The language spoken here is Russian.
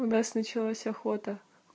у нас началась охота